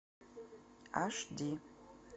аш ди